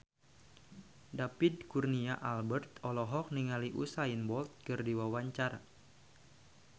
David Kurnia Albert olohok ningali Usain Bolt keur diwawancara